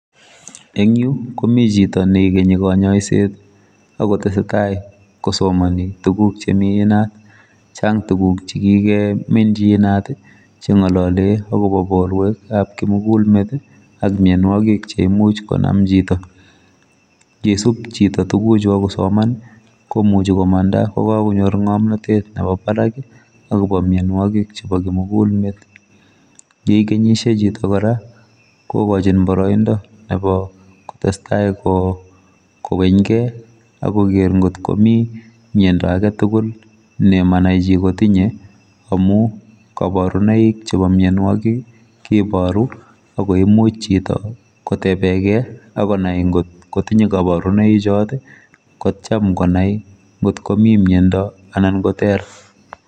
Engyu komi chito neikenyi kanyoiset akotesetai kosomani tuguk chemi inat chang tuguk chekike minji inat chengolole akobo borwek chebo kimugulmet ak mianwokik cheimuch konam chito ngisub chito tuguchu akosoman komuchi komanda kokakonyor ngomnotet nebo barak akobo mianwokik chebo kimugulmet yeikenyishei chito kora kokochin boroindo kora nebo kotestai koweny kei akoker ngotkomi miando agetugul nemanai chi kotinye amu kabarunoik chebo mianwokik kebaru akoimuch chito kotebekei akonai ngotkotinye kabarunoichot kocham konai ngotkomi miando anan koter.